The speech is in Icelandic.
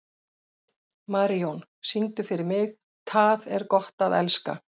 Marijón, syngdu fyrir mig „Tað er gott at elska“.